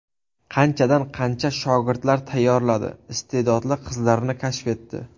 Qanchadan qancha shogirdlar tayyorladi, iste’dodli qizlarni kashf etdi.